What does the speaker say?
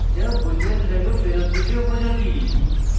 boolean value ফেরৎ দিতে উপযোগী